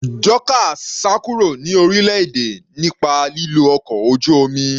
Dorcas sá kúrò ní orílẹ̀-èdè nípa lílo ọkọ̀ ojú omi.